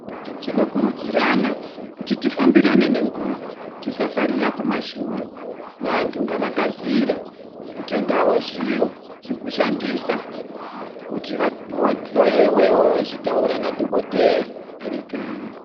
Tinokurudzirana kuti tifambirane nenguva, tisasarira kumashure. Vantu ngavakasire kutengawo zviro zvekushandisa kuti vahloyewewo vachitaura nadhokodhera vari kanyi.